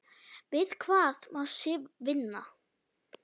Við hvað má Sif vinna?